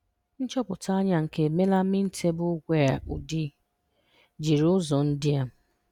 Nchọpụta anya nke melamine tableware udi, jiri ụzọ ndị a.